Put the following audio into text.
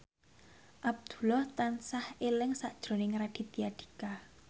Abdullah tansah eling sakjroning Raditya Dika